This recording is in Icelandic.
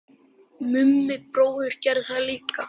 Mummi bróðir gerði það líka.